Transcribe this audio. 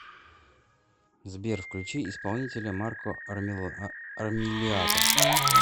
сбер включи исполнителя марко армилиато